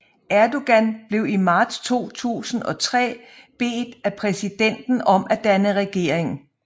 Erdoğan blev i marts 2003 bedt af præsidenten om at danne regering